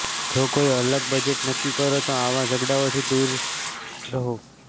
જો કોઈ અલગ બજેટ નક્કી કરે તો આવા ઝઘડાઓથી દૂર રહો